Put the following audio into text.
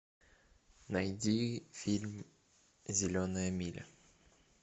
найди фильм зеленая миля